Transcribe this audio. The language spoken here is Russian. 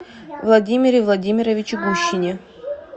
владимире владимировиче гущине